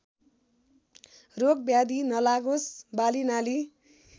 रोगब्याधी नलागोस् बालीनाली